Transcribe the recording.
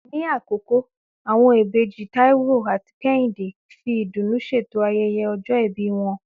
Ní Àkókó, àwọn ìbejì Táíwò àti Kẹ́hìndé fi ìdùnnú ṣètò ayẹyẹ ọjọ́ ìbí wọn